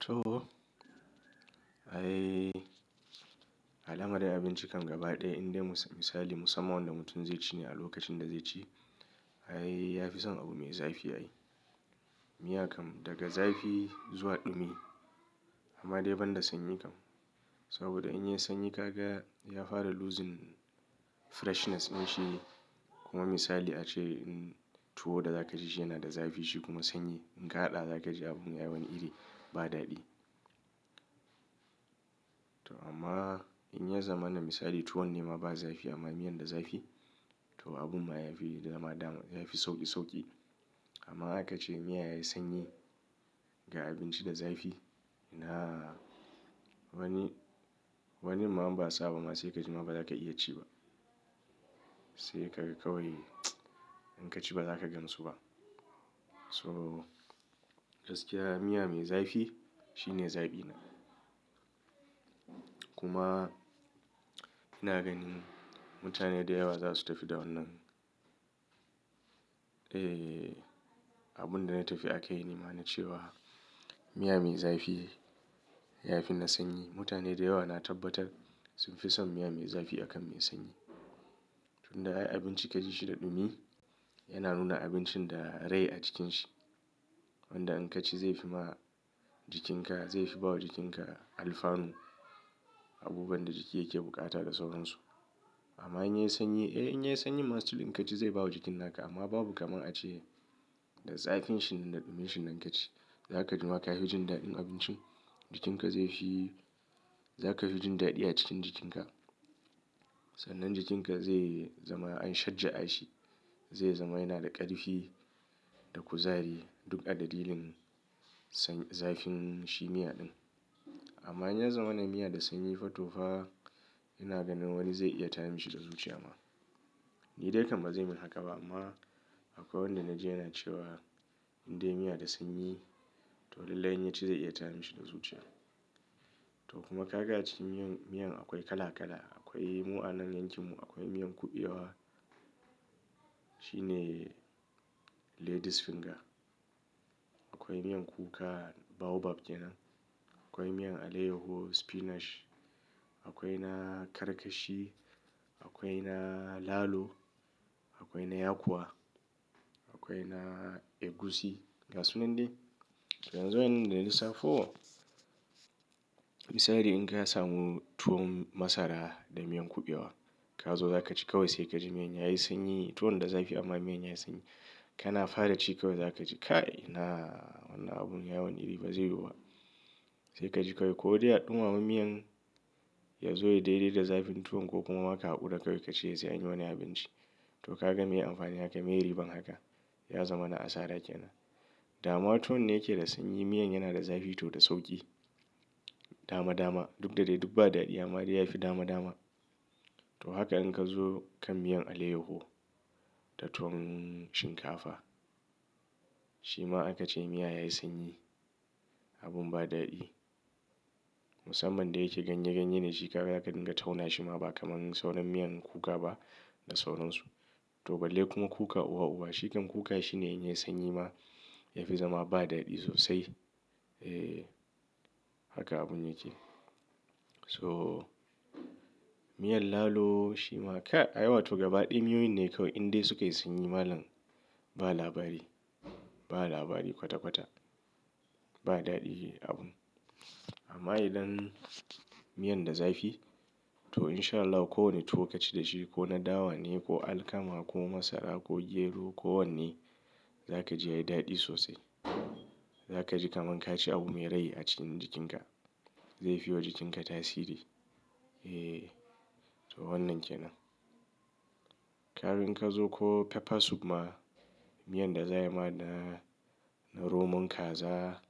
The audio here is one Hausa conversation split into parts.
To. Ai alamar abinci kan gaba ɗaya indai misali musamman wanda mutum zai ci ne a lokacin da zai ci. Ai yafi son abu mai zafi ai. Miya kan daga zafi zuwa ɗumi amma dai banda sanyi kan. Saboda in yayi sanyi kaga ya fara losing freshness din shi kuma misali ace tuwo da za ka ci shi yana da zafi shi kuma sanyi. In ka haɗa za ka ji abun ya wani iri ba daɗi. To amma in ya zama na misali tuwon nema ba zafi amma miyan da zafi to abun ma yafi daman zafi sauƙi sauƙi. Amma haka ace miya yayi sanyi ga abinci da zafi ina wani, wani ma ban saba ba. Ma sai ka ji ma baza ka iya ci ba. Sai ka kawai in ka ci ba za ka gansu ba. So gaskiya miya mai zafi shine zaɓina. Kuma ina ganin mutane da yawa za su tafi da wannan. E, abun da na tafi akayi nima na cewa miya mai zafi yafi na sanyi. Mutane da yawa na tabbatar sun fi son miya mai zafi akan mai sanyi. Tun da ai abinci ka ji shi da ɗumi yana nuna abincin da rai a jikin shi. Wanda in ka ci zai fi ma jikin ka, zai fi ba wa jikin ka alfanu. Abubuwan da jiki yake bukata da sauran su. Amma in yayi sanyi? Eh in yayi sanyi ma still in ka ci zai bawa jikin naka amma babu kamar ace da zafin shi da ɗumin shi nan ka ci. Za ka ji ma ka hi jin daɗin abincin. Jikin ka zai fi, za ka hi jin daɗi a cikin jikin ka. Sannan jikin ka zai zama an shajja a shi. Zai zama yana da ƙarfi da kuzari duk a dalilin sanyi, zafin shi miya din. Amma in ya zama na miya da sanyi fa to fa ina ganin wani zai iya tayi mashi da zuciya ma. Ni dai kamar zai min haka ba amma akwai wanda na ji yana cewa in dai miya da sanyi to lallai in ya ci zai iya tayi mashi da zuciya. To kuma kaga aci miyan, miyan akwai kala kala. Akwai mu'anan yankimu. Akwai miyan kuɓewa shi ne ladies finger. Akwai miyan kuka, baobab kenan. Akwai miyan aleyoho, spinach. Akwai na karkashi. Akwai na lalo. Akwai na yakuwa. Akwai na egusi ga sunan dai. Yanzu wai inda na lissafo misali in ka samu tuwon masara da miyan kuɓewa. Ka zo za ka ci kawai sai ka ji miyan yayi sanyi. Tuwon da zafi amma miyan yayi sanyi. Kana fara ci kawai za ka ji kai na wannan abun yawan iri bazai yiwuwa sai ka ji kawai. Ko dai a ɗumama miyan ya zo ya daidaita zafin tuwon ko kuma aka haƙura kawai ka ci yanzu yayi wani abinci. To kaga me amfani haka me riban haka? Ya zama na asara kenan. Dama tuwo ne yake da sanyi miyan yana da zafi toh da sauƙi. Dama dama duk da dai duk ba daɗi amma dai yafi dama dama. To haka in ka zo kan miyan aleyoho da tuwon shinkafa. Shi ma aka ce miya yayi sanyi abun ba daɗi. Musamman da yake ganye ganye da shi ka ga da ka dinga tauna shi ma ba kamar sauran miyan kuka ba da sauran su. To balle kuma kuka uwa uba. Shikan kuka shine in yayi sanyi ma yafi zama ba daɗi sosai. E haka abun yake. So miyan lalo shi ma kai ai watoh gaba ɗaya miyoyin ne kawai in dai suka yi sanyi malam ba labari. Ba labari kwata kwata. Ba daɗi abun. Amma idan miyan da zafi to in sha Allah ko wanne tuwo ka ci da shi ko na dawa ne ko alkama ko masara ko gero ko wanne za ka ji yayi daɗi sosai. Za ka ji kaman ka ci abu mai rai a cikin jikin ka. Zai fi wa jikin ka tasiri. E toh wannan kenan. Kaga in ka zo ko pepper soup ma miyan da za ai ma da na romon kaza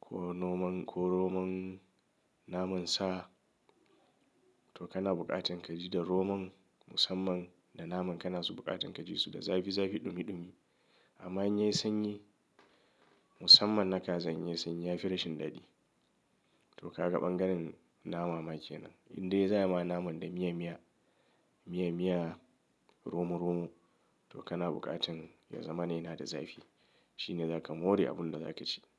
ko roman ko romon naman sa. To kana buƙatan ka ji da romon musamman da naman kana so buƙatan ka ji su da zafi zafi ɗumi ɗumi. Amma in yayi sanyi musamman na kazan yayi sanyi yafi rashin daɗi. To kaga bangaren nama ma kenan. In dai za ya ma naman da miya miya, miya miya romo romo to kana buƙatan ya zama yana da zafi. Shi ne zaka more abun da za ka ci.